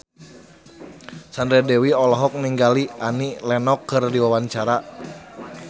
Sandra Dewi olohok ningali Annie Lenox keur diwawancara